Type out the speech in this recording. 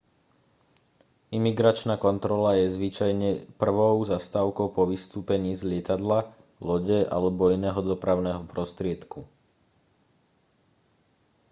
imigračná kontrola je zvyčajne prvou zastávkou po vystúpení z lietadla lode alebo iného dopravného prostriedku